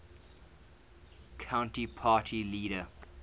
country party leader